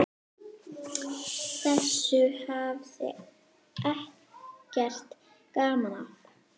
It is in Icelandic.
Þessu hafði Eggert gaman af.